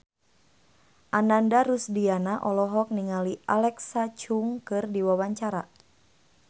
Ananda Rusdiana olohok ningali Alexa Chung keur diwawancara